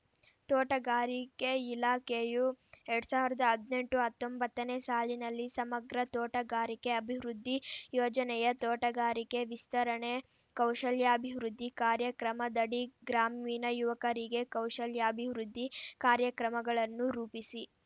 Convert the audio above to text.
ತೋಟಗಾರಿಕೆ ಇಲಾಖೆಯು ಎರಡ್ ಸಾವಿರದ ಹದಿನೆಂಟು ಹತ್ತೊಂಬತ್ತನೇ ಸಾಲಿನಲ್ಲಿ ಸಮಗ್ರ ತೋಟಗಾರಿಕೆ ಅಭಿವೃದ್ಧಿ ಯೋಜನೆಯ ತೋಟಗಾರಿಕೆ ವಿಸ್ತರಣೆ ಕೌಶಲ್ಯಾಭಿವೃದ್ಧಿ ಕಾರ್ಯಕ್ರಮದಡಿ ಗ್ರಾಮೀಣ ಯುವಕರಿಗೆ ಕೌಶಲ್ಯಾಭಿವೃದ್ಧಿ ಕಾರ್ಯಕ್ರಮಗಳನ್ನು ರೂಪಿಸಿ